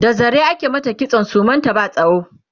da zare ake mata kitson suman ta ba tsawo